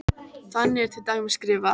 Þannig er til dæmis skrifað: